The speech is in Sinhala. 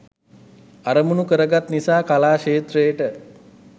අරමුණු කරගත් නිසා කලා ක්ෂේත්‍රයට